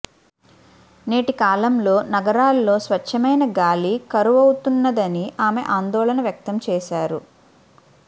నేటికాలంలో నగరాల్లో స్వచ్ఛమైన గాలి కరువవుతున్నదని ఆమె ఆందోళన వ్యక్తం చేశారు